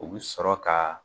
U bi sɔrɔ ka